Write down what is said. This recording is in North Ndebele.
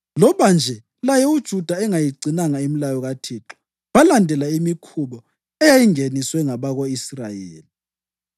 loba nje laye uJuda engayigcinanga imilayo kaThixo. Balandela imikhuba eyayingeniswe ngabako-Israyeli.